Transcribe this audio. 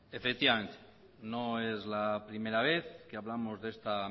efectivamente no es la primera vez que hablamos de esta